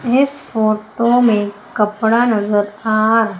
इस फोटो में कपड़ा नजर आ --